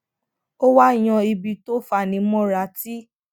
ó wá yan ibi tó fani móra tí